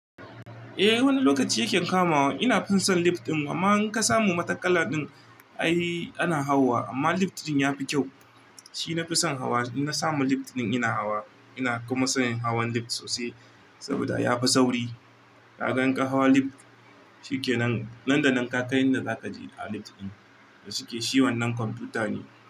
Eh wani lokaci yake kamawa. Ina fison lip ɗin amma in ka samu matakalla ɗin ai ana hawa amma lip ɗin yafi kyau. Shi nafi son hawa, in na samu lip ɗin ina hawa ina kuma sayan hawan lip sosai saboda yafi sauri. Kaga in ka hawa lip shi kenan. Nan da nan ka kai inda zaka je a lip ɗin da suke. Shi wannan kwamfuta ne.